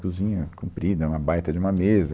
Cozinha comprida, é uma baita de uma mesa.